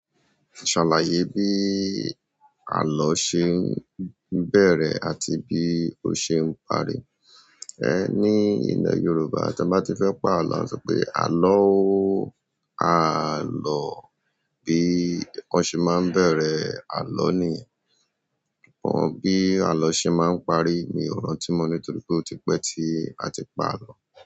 Salaye bi alo se n beere àti bi o se n parí. Ehn, ní ilẹ̀ Yorùbá, tí a bá ti fẹ́ pa àlọ́, a tí pé, "àlọ́ọ́, àá lọ." Bí ǹkan ṣe máa ń bẹ̀rẹ̀ àlọ́ ni. Bí àlọ ṣe máa ń parí, mi ò rántí mọ nítorí pé ó ti pẹ́ tí a ti pa àlọ́.